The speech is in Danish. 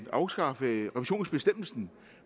afskaffe revisionsbestemmelsen